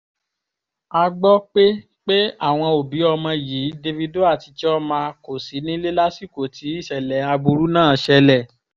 a gbọ́ pé pé àwọn òbí ọmọ yìí davido àti chioma kò sí nílé lásìkò tí ìṣẹ̀lẹ̀ aburú náà ṣẹlẹ̀